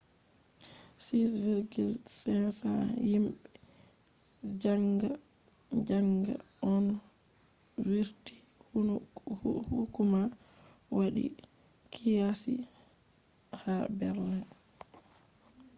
6,500 himbe zanga-zanga on vurti hukuma wadi qiyasi ha berlin